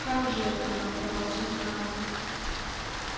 как же это она про вас узнала